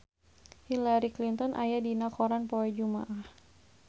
Hillary Clinton aya dina koran poe Jumaah